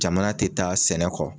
Jamana tɛ taa sɛnɛ kɔ.